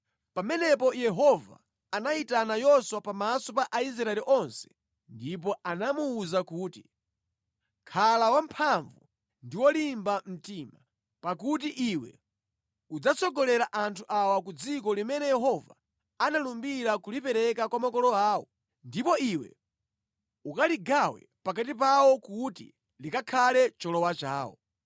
Pamenepo Yehova anayitana Yoswa pamaso pa Aisraeli onse ndipo anamuwuza kuti, “Khala wamphamvu ndi wolimba mtima, pakuti iwe udzatsogolera anthu awa ku dziko limene Yehova analumbira kulipereka kwa makolo awo, ndipo iwe ukaligawe pakati pawo kuti likakhale cholowa chawo.